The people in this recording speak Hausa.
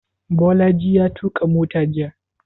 Bolaji ya tuƙa mota jiya?